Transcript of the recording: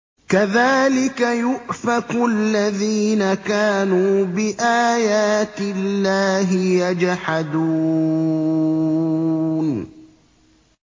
كَذَٰلِكَ يُؤْفَكُ الَّذِينَ كَانُوا بِآيَاتِ اللَّهِ يَجْحَدُونَ